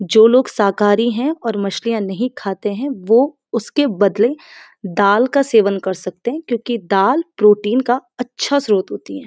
जो लोग शाकारी हैं और मछलियाँ नहीं खाते हैं वो उसके बदले दाल का सेवन कर सकते हैं क्योंकि दाल प्रोटीन का अच्छा स्रोत होती है।